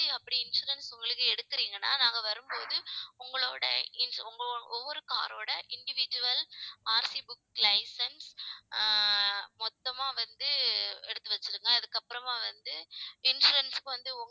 அப்படி insurance உங்களுக்கு எடுக்கிறீங்கன்னா நாங்க வரும்போது, உங்களோட in~ ஒவ்வொரு car ரோட individualRCbook licence ஆஹ் மொத்தமா வந்து எடுத்து வச்சிடுங்க அதுக்கப்புறமா வந்து, insurance க்கு வந்து